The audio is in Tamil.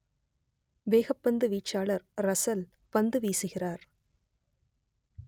வேகப்பந்து வீச்சாளர் ரசல் பந்து வீசுகிறார்